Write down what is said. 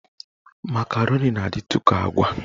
Makaroni na-adịtụ ka agwa.